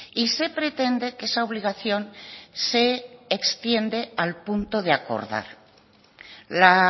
y se pretende que esa obligación se extiende al punto de acordar la